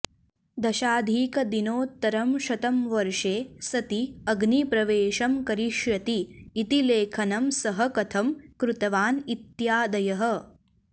दशाधिकदिनोत्तरं शतं वर्षे सति अग्निप्रवेशं करिष्यति इति लेखनं सः कथं कृतवान् इत्यादयः